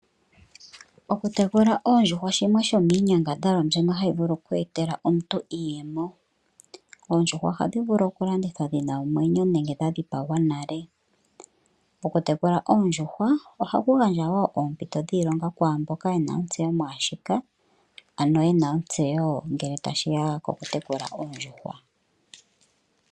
Okutekula oondjuhwa shimwe shomiinyangadhalwa mbyono hayi vulu okweetela omuntu iiyemo. Oondjuhwa ohadhi vulu okulandithwa dhina omwenyo nenge dha dhipagwa nale. Okutekula oondjuhwa ohaku gandja oompito wo dhiilonga kwaamboka yena ontseyo mwaashika ano yena ontseyo ngele tashiya koku tekula oondjuhwa.